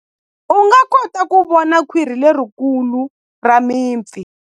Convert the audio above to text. U nga kota ku vona khwiri lerikulu ra mipfi.